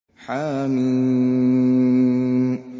حم